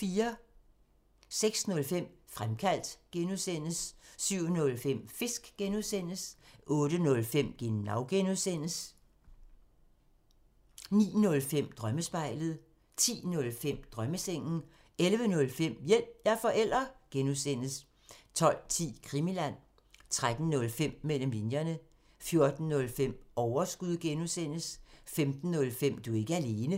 06:05: Fremkaldt (G) 07:05: Fisk (G) 08:05: Genau (G) 09:05: Drømmespejlet 10:05: Drømmesengen 11:05: Hjælp – jeg er forælder! (G) 12:10: Krimiland 13:05: Mellem linjerne 14:05: Overskud (G) 15:05: Du er ikke alene